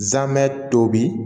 Zamɛ tobi